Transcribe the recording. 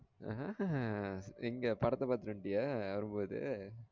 எங்க படத்த பாத்திட்டு வந்துட்டிய வரும் போது